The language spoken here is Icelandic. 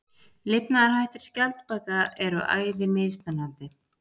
Lifnaðarhættir skjaldbaka eru æði mismunandi.